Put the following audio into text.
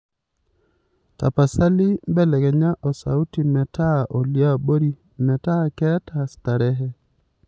tapasali belekenya osauti meeta oliabori meeta keeta starehe